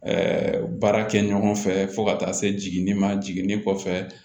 baara kɛ ɲɔgɔn fɛ fo ka taa se jiginni ma jiginni kɔfɛ